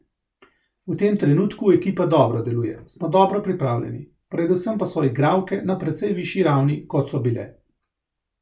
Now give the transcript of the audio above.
V tem trenutku ekipa dobro deluje, smo dobro pripravljeni, predvsem pa so igralke na precej višji ravni, kot so bile.